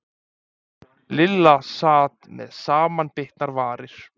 Lilla sat með samanbitnar varir.